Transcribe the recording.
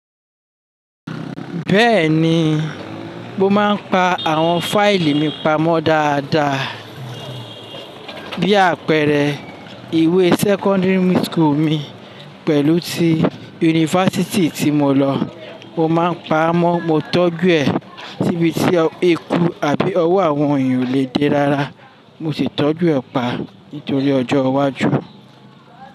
Bẹ́ẹ̀ni, mo máa ń pa àwọn fáìlì mi pamọ́ dáadáa bí àpẹrẹe ìwé secondary school mi pẹ̀lú ti yunifásítì tí mo lọ. Mo máa ń pamọ́, mo tọ́jú ẹ̀ tíbití eku àbí ọwọ́ àwọn èèyàn ò lè dé rárá. Mo sì tọ́jú ẹ̀ pa nítorí ọjọ́ iwájú.